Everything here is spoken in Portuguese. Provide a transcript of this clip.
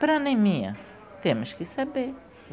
Para anemia, temos que saber.